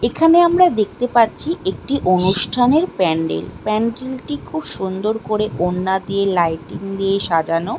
এখানে আমরা দেখতে পাচ্ছি একটি অনুষ্ঠানের প্যান্ডেল প্যান্ডেল টি খুব সুন্দর করে ওড়না দিয়ে লাইটিং দিয়ে সাজানো।